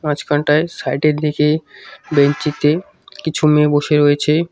মাঝখানটায় side এর দিকে বেঞ্চি তে কিছু মেয়ে বসে রয়েছে।